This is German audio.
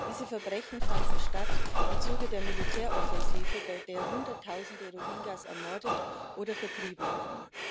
Diese Verbrechen fanden statt im Zuge der Militäroffensive, bei der Hunderttausende Rohingyas ermordet oder vertrieben wurden.